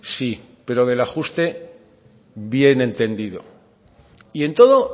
sí pero del ajuste bien entendido y en todo